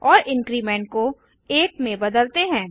और इंक्रीमेंट को 1 में बदलते हैं